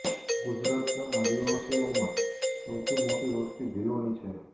ગુજરાત ના આદિવાસીઓમાં સૌથી મોટી વસ્તી ભીલો ની છે